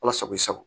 Ala sago i sago